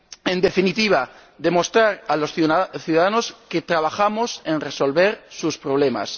En definitiva, demostrar a los ciudadanos que trabajamos por resolver sus problemas.